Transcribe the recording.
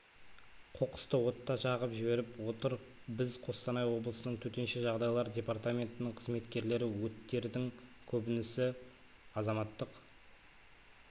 қоқысты отта жағып жіберіп отыр біз қостанай облысының төтенше жағдайлар департаментінің қызметкерлері өттердің көбінісі азаматтық